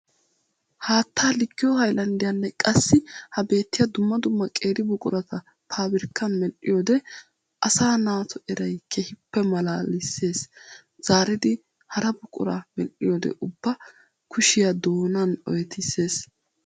Haatta likkiyo hayllanddiyanne qassi ha beetiya dumma dumma qeeri buqurata paabirkkan medhdhiyoode asaa naatu eray keehippe malaalisees. Zaariddi hara buqura medhdhiyoode ubba kushiya doonan oyttissees.